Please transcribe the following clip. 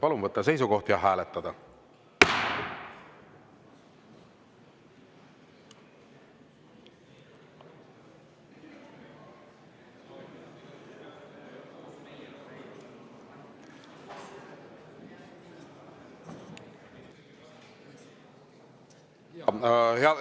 Palun võtta seisukoht ja hääletada!